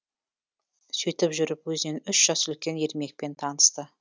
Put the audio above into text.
сөйтіп жүріп өзінен үш жас үлкен ермекпен танысты